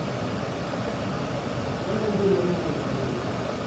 Mano en Due marumo kod Sulwe.